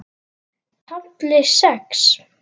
KAFLI SEX